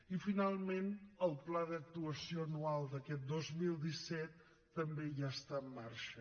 i finalment el pla d’actuació anual d’aquest dos mil disset també ja està en marxa